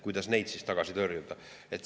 Kuidas neid siis tagasi tõrjuda?